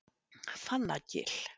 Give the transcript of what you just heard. Fannagil